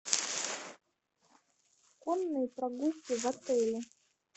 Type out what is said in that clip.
конные прогулки в отеле